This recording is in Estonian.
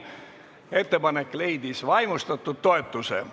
Ettepanek leidis vaimustatud toetuse.